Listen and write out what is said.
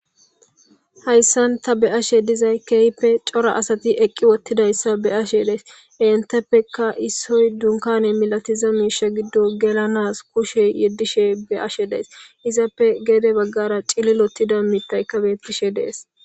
Hayssanta be ashe dizay kehpe cora asati eqqi wottidayssa be ashe dees enteppeka issoy dunkane milatiza miisha giddo gelanas kushe yeddishe beashe dees izappe geede baggara cililotida miittay kabettishe dees.